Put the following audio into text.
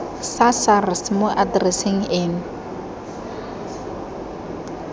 sa sars mo atereseng eno